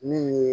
Min ye